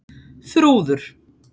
Þrúður